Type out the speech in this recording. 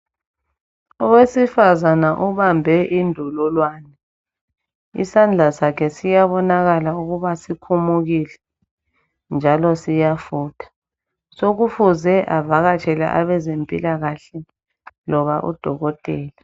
Owesifazane ubambe indololwane. Isandla sakhe siyabonakala ukuba sikhumukile njalo siyafutha. Sokufuze avakatshele abezempilakahle loba odokotela.